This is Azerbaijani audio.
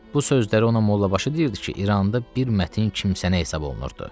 Bu sözləri ona Mollabaşı deyirdi ki, İranda bir mətin kimsənə hesab olunurdu.